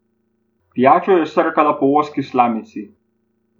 Pijačo je srkala po ozki slamici.